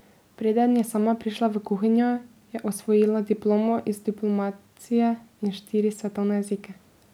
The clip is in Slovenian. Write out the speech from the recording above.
Preden je sama prišla v kuhinjo, je osvojila diplomo iz diplomacije in štiri svetovne jezike.